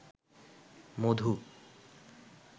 মধু